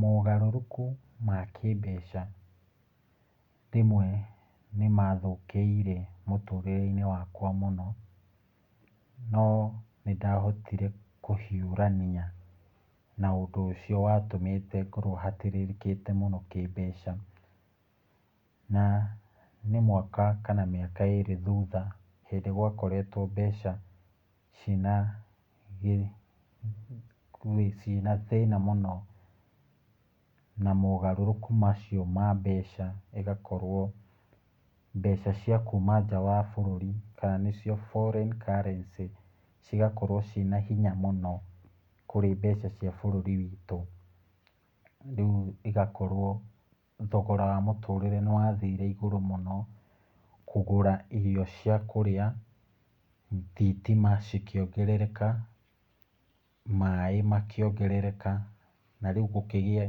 Mogarũrũku ma kĩĩmbeca rĩmwe nĩmathũkĩire mũtũrĩre-inĩ wakwa mũno. No nĩndahotire kũhĩũrania na ũndũ ũcio watũmĩte ngorwo hatĩrĩrĩkĩte mũno kĩĩmbeca. Na nĩ mwaka kana mĩaka ĩrĩ thutha, hĩndĩ gwakoretwo mbeca cina gĩ, cina thĩna mũno na mogarũrũku macio ma mbeca ĩgakorwo mbeca cia kuuma nja wa bũrũri kana nĩcio foreign currency, cigakorwo cina hinya mũno kũrĩ mbeca cia bũrũri witũ. Rĩu igakorwo thogora wa mũtũrĩre ni wathiire igũrũ mũno, kũgũra irio cia kũrĩa, thitima cikĩongerereka, maaĩ makĩongerereka na rĩu gũkĩgĩa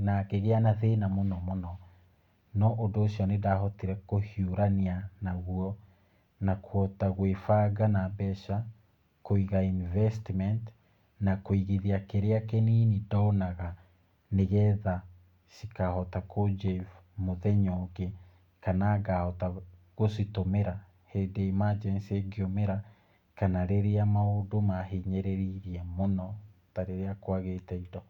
na ngĩgĩa na thĩna mũno mũno. No ũndũ ũcio nĩndahotire kũhiũrania naguo na kũhota gwĩbanga na mbeca, kũiga Investment, na kuigithia kĩrĩa kĩnini ndonaga nĩ getha cikaahota kũnjebu mũnyenya ũngĩ kana gũcitumĩra hĩndĩ ya emergency ĩngiũmĩra kana rĩrĩa maũndũ mahinyĩrĩirie mũno ta rĩrĩa kwagĩte indo.